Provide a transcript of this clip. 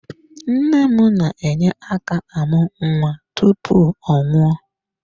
Nne m na-enye aka amụ nwa tupu ọ nwụọ.